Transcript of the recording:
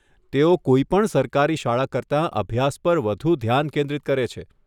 તેઓ કોઈપણ સરકારી શાળા કરતાં અભ્યાસ પર વધુ ધ્યાન કેન્દ્રિત કરે છે.